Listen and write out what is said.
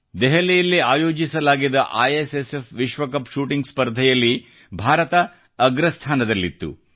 ದೆಹಲಿಯಲ್ಲಿ ಆಯೋಜಿಸಲಾಗಿದ್ದ ಐಎಸ್ಎಸ್ಎಫ್ ವಿಶ್ವಕಪ್ ಶೂಟಿಂಗ್ ಸ್ಪರ್ಧೆಯಲ್ಲಿ ಭಾರತ ಅಗ್ರಸ್ಥಾನದಲ್ಲಿತ್ತು